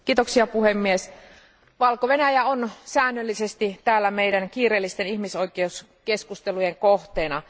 Arvoisa puhemies, Valko Venäjä on säännöllisesti täällä meidän kiireellisten ihmisoikeuskeskustelujemme kohteena.